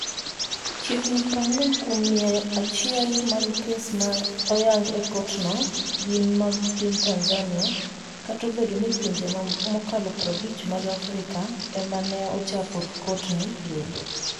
Chiegni 40 kuom mia achiel mag kes ma oyango e kotno gin mag piny Tanzania, kata obedo ni pinje mokalo 50 mag Afrika e ma ne ochako kotno bende.